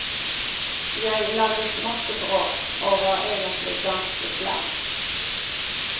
Jeg laget masse bråk, og var egentlig ganske slem.